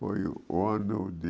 Foi o ano de...